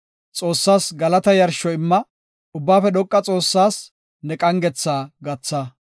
Xoossas galata yarsho imma; Ubbaafe dhoqa Xoossaas ne qangetha gatha.